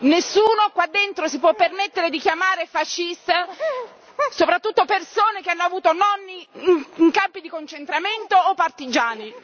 Nessuno qua dentro si può permettere di chiamare fascista, soprattutto persone che hanno avuto nonni in campi di concentramento o partigiani.